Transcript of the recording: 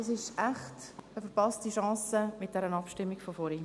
Es ist echt eine verpasste Chance, mit dieser Abstimmung von vorhin.